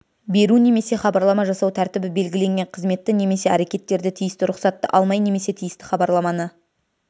беру немесе хабарлама жасау тәртібі белгіленген қызметті немесе әрекеттерді тиісті рұқсатты алмай немесе тиісті хабарламаны